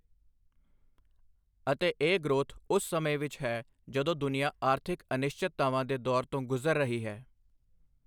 ਅਤੇ ਇਹ ਗ੍ਰੋਥ ਉਸ ਸਮੇਂ ਵਿੱਚ ਹੈ ਜਦੋਂ ਦੁਨੀਆ ਆਰਥਿਕ ਅਨਿਸ਼ਚਿਤਤਾਵਾਂ ਦੇ ਦੌਰ ਤੋਂ ਗੁਜਰ ਰਹੀ ਹੈ।